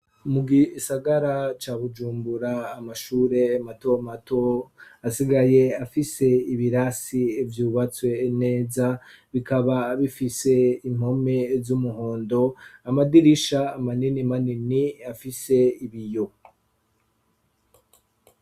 Mu gisagara ca Bujumbura amashure mato mato asigaye afise ibirasi yubatswe neza bikaba bifise impome z'umuhondo amadirisha amanini manini afise ibiyo.